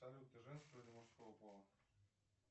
салют ты женского или мужского пола